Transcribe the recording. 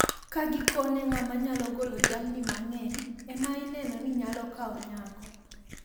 Ka gikone ng`ama nyalo golo jamni mang`eny ema ineno ni nyalo kawo nyako.